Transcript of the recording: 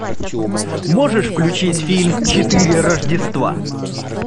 можешь включить фильм четыре рождества